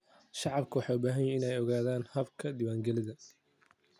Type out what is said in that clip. Shacabku waxay u baahan yihiin inay ogaadaan habka diiwaangelinta.